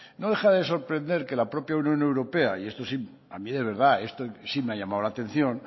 no deja de sorprender que en la propia unión europea y esto a mí de verdad esto sí me ha llamado la atención